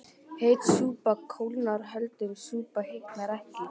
Heit súpa kólnar köld súpa hitnar ekki